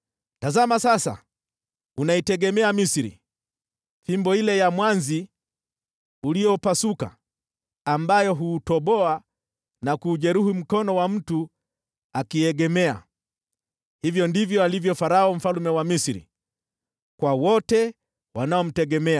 Tazama sasa, unaitegemea Misri, fimbo ile ya mwanzi uliopasuka, ambayo huuchoma na kuujeruhi mkono wa mtu akiiegemea! Hivyo ndivyo alivyo Farao mfalme wa Misri, kwa wote wanaomtegemea.